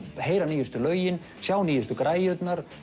heyra nýjustu lögin sjá nýjustu græjurnar